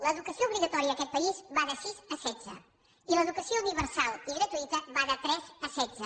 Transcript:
l’educació obligatòria en aquest país va de sis a setze i l’educació universal i gratuïta va de tres a setze